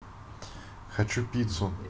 хочу пиццу